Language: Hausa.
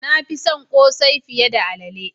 Na fi son cin kose fiye da alalle.